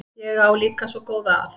Ég á líka svo góða að.